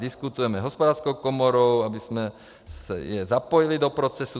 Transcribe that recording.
Diskutujeme s Hospodářskou komorou, abychom je zapojili do procesu.